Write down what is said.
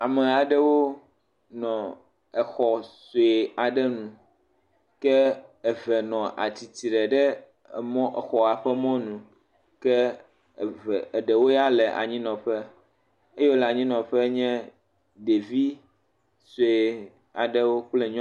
Ame aɖewo nɔ exɔ sue aɖe nu, ke eve nɔ atsitre ɖe exɔa ƒe mɔ nu ke eve aɖewo ya le anyinɔƒe, esiwo le anyinɔƒe nye ɖevi sue kple nyɔnu.